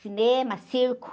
Cinema, circo.